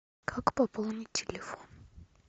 как пополнить телефон